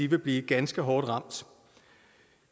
vil blive ganske hårdt ramt